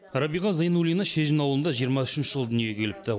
рәбиға зайнуллина шежін ауылында жиырма үшінші жылы дүниеге келіпті